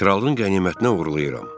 Kralın qənimətinə uğurlayıram.